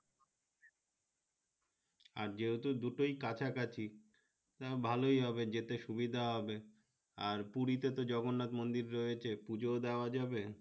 আর যেহেতু দুটাই কাছা কাছি ভালোই হবে যেতে সুবিধা হবে আর পুরিতে তো জগন্নাত মন্দির রয়েছে পূজো ও দেওয়া যাবে